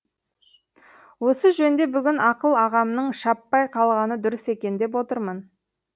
осы жөнде бүгін ақыл ағамның шаппай қалғаны дұрыс екен деп отырмын